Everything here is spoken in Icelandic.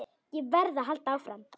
Ég verð að halda áfram.